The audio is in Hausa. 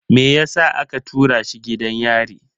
Me yasa aka tura shi gidan yari?